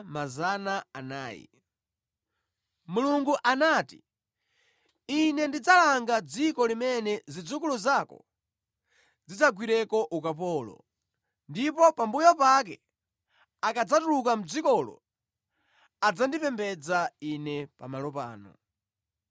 Mulungu anati, ‘Ine ndidzalanga dziko limene zidzukulu zako zidzagwireko ukapolo, ndipo pambuyo pake akadzatuluka mʼdzikolo adzandipembedza Ine pamalo pano.’